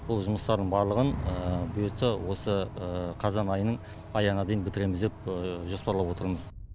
бұл жұмыстардың барлығын бұйыртса осы қазан айының аяғына дейін бітіреміз деп жоспарлап отырмыз